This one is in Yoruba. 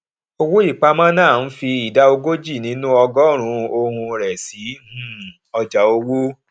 owóìpamọ náà ń fi ìdá ogójì nínú ọgọrùnún ohun rẹ sí um ọjà owó